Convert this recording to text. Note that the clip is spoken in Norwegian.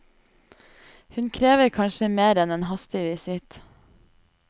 Hun krever kanskje mer enn en hastig visitt.